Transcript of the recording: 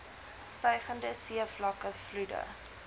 stygende seevlakke vloede